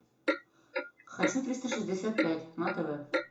хочу триста шестьдесят пять на тв